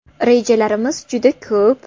Rejalarimiz juda ko‘p!